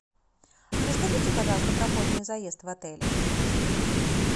расскажите пожалуйста про поздний заезд в отеле